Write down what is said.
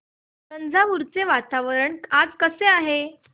तंजावुर चे वातावरण आज कसे आहे